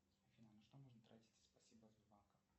афина на что можно тратить спасибо от сбербанка